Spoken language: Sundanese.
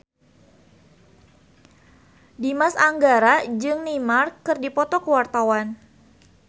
Dimas Anggara jeung Neymar keur dipoto ku wartawan